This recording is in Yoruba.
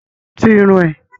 Tú irun ẹ!